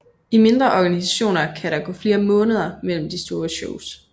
I mindre organisationer kan der gå flere måneder mellem de store shows